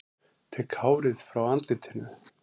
Tek hárið frá andlitinu.